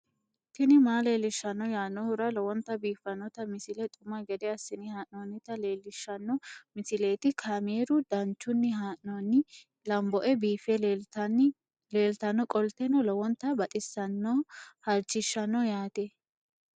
tini maa leelishshanno yaannohura lowonta biiffanota misile xuma gede assine haa'noonnita leellishshanno misileeti kaameru danchunni haa'noonni lamboe biiffe leeeltannoqolten lowonta baxissannoe halchishshanno yaate